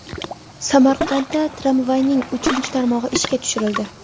Samarqandda tramvayning ikkinchi tarmog‘i ishga tushirildi.